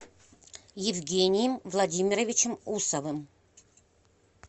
евгением владимировичем усовым